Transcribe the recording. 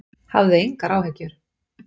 Hafðu engar áhyggjur!